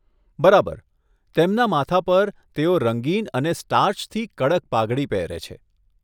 બરાબર! તેમના માથા પર, તેઓ રંગીન અને સ્ટાર્ચથી કડક પાઘડી પહેરે છે.